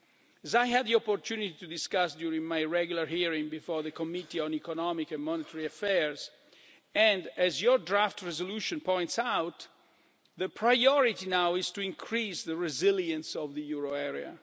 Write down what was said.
made. As I had the opportunity to discuss during my regular hearing before the Committee on Economic and Monetary Affairs, and as your draft resolution points out, the priority now is to increase the resilience of the euro